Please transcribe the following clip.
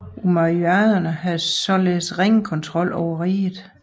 Umayyaderne havde således ringe kontrol over riget